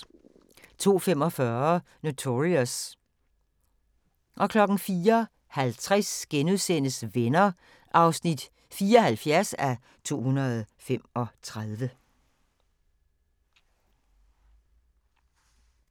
02:45: Notorious 04:50: Venner (74:235)*